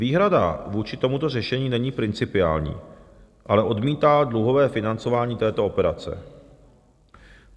Výhrada vůči tomuto řešení není principiální, ale odmítá dluhové financování této operace.